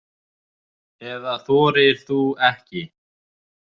Eða þorir þú ekki?